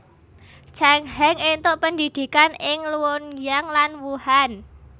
Chang Heng entuk pendhidhikan ing Luoyang lan Wuhan